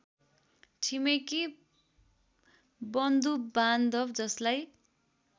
छिमेकी बन्धुबान्धव जसलाई